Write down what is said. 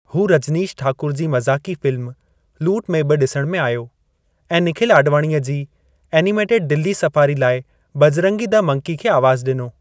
हू रजनीश ठाकुर जी मज़ाक़ी फ़िल्म, लूट में बि ॾिसणु आयो, ऐं निखिल आॾवाणीअ जी एनिमेटेड दिल्ली सफारी लाइ बजरंगी द मंकी खे आवाज़ु ॾिनो।